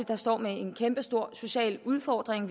der står med en kæmpestor social udfordring